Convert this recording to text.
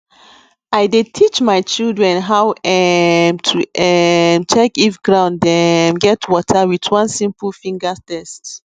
i dey teach my children how um to um check if ground um get water with one simple finger test